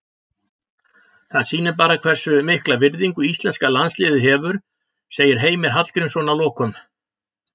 Það sýnir bara hversu mikla virðingu íslenska landsliðið hefur, segir Heimir Hallgrímsson að lokum.